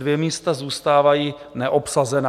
Dvě místa zůstávají neobsazená.